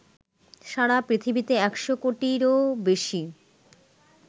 সারা পৃথিবীতে ১০০ কোটিরও বেশি